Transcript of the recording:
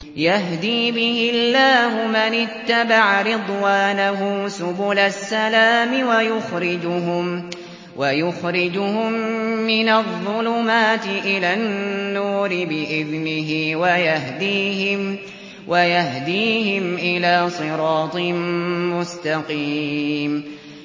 يَهْدِي بِهِ اللَّهُ مَنِ اتَّبَعَ رِضْوَانَهُ سُبُلَ السَّلَامِ وَيُخْرِجُهُم مِّنَ الظُّلُمَاتِ إِلَى النُّورِ بِإِذْنِهِ وَيَهْدِيهِمْ إِلَىٰ صِرَاطٍ مُّسْتَقِيمٍ